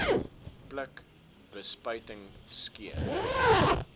pluk bespuiting skeer